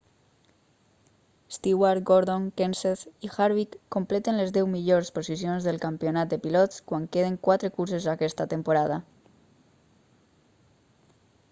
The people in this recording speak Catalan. stewart gordon kenseth i harvick completen les deu millors posicions del campionat de pilots quan queden quatre curses aquesta temporada